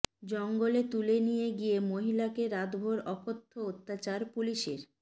জঙ্গলে তুলে নিয়ে গিয়ে মহিলাকে রাতভর অকথ্য অত্যাচার পুলিসের